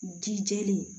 Ji jeli